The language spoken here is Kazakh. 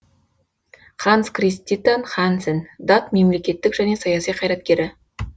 ханс криститан хансен дат мемлекттік және саяси қайраткері